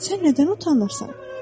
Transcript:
Sən nədən utanırsan?